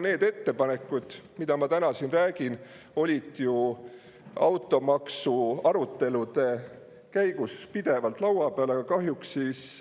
Need ettepanekud, millest ma siin räägin, olid ju automaksu arutelude käigus pidevalt laual, aga kahjuks siis